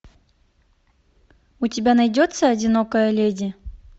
у тебя найдется одинокая леди